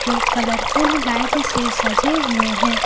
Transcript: Colourful light से सजे हुए हैं।